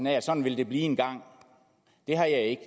af at sådan vil det blive engang det har jeg ikke